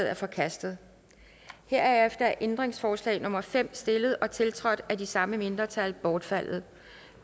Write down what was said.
er forkastet herefter er ændringsforslag nummer fem stillet og tiltrådt af de samme mindretal bortfaldet